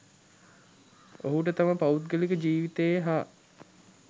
ඔහුට තම පෞද්ගලික ජීවිතයේ හා